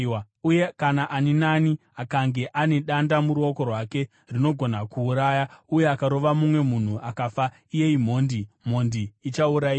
Uye kana ani naani akange ane danda muruoko rwake rinogona kuuraya, uye akarova mumwe munhu akafa, iye imhondi; mhondi ichaurayiwa.